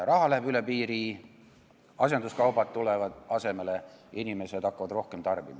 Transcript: Raha läheb piiri taha, asenduskaubad tulevad asemele ja inimesed hakkavad rohkem tarbima.